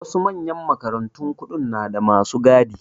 Wasu manyan makarantun kuɗi nada masu gadi